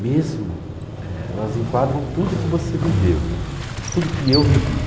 Mesmo, é elas enquadram tudo que você viveu, tudo que eu vivi.